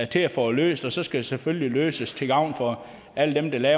til at få det løst og så skal det selvfølgelig løses til gavn for alle dem der